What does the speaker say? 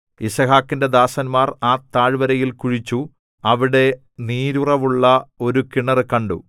യിസ്ഹാക്കിന്റെ ദാസന്മാർ ആ താഴ്വരയിൽ കുഴിച്ചു അവിടെ നീരുറവുള്ള ഒരു കിണറ് കണ്ടു